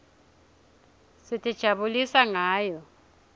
sitijabulisa ngayo